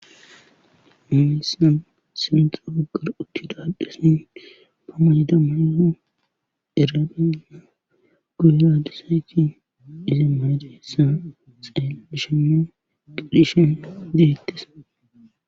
Mimessan simxroo gar uchida addhesi ba ma yida mayoho erabinna guya dusayti izi malade hessa xee bishinno qidishen dihettes.